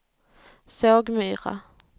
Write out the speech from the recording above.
Sågmyra